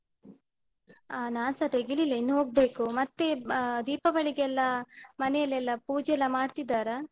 ಆ ನಾನ್ಸ ತೆಗಿಲಿಲ್ಲ ಇನ್ನು ಹೋಗ್ಬೇಕು. ಮತ್ತೆ ಆ ದೀಪಾವಳಿಗೆಲ್ಲ ಮನೆಯಲೆಲ್ಲ ಪೂಜೆ ಎಲ್ಲ ಮಾಡ್ತಿದ್ದಾರಾ?